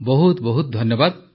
ବହୁତ ବହୁତ ଧନ୍ୟବାଦ